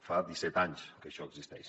fa disset anys que això existeix